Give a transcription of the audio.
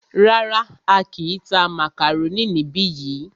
Rárá,á kìí tá màkàrónì níbi yìí.